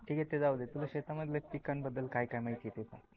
ठीक ते जाऊदे तुला शेतामधल्या पिकाबद्द्ल काय काय माहिती आहे ते सांग?